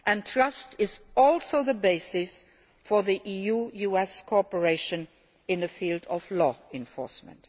Trust is also the basis for EU US cooperation in the field of law enforcement.